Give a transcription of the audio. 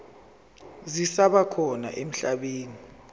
zisaba khona emhlabeni